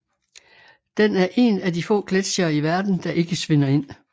Den er en af de få gletsjere i verden der ikke svinder ind